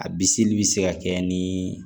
A bi seli bi se ka kɛ ni